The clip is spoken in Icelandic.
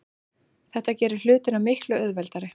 Þetta gerir hlutina miklu auðveldari.